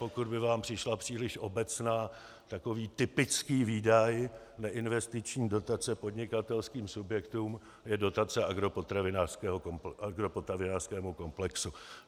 Pokud by vám přišla příliš obecná, takový typický výdaj neinvestiční dotace podnikatelským subjektům je dotace agropotravinářskému komplexu.